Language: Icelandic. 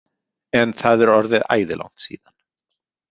En það er orðið æði langt síðan.